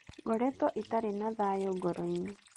Ngoretwo itarĩ na thaayũ ngoro-inĩ.